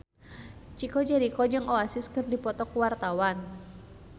Chico Jericho jeung Oasis keur dipoto ku wartawan